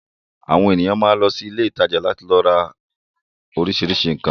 Àwọn ènìyàn máa ń lọ sí ilé-ìtajà láti lọ ra oríṣiríṣi nǹkan.